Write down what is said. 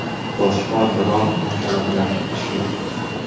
Boshqa biron masala bilan ishi yo‘q.